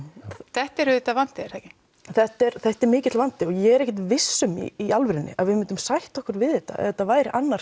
þetta er auðvitað vandi er það ekki þetta er þetta er mikill vandi og ég er ekkert viss um í alvörunni að við myndum sætta okkur við þetta ef þetta væri annar